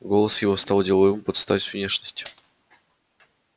голос его стал деловым под стать внешности